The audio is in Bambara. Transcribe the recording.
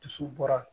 Dusu bɔra